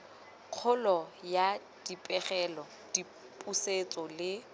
kgolo ya dipegelo dipusetso le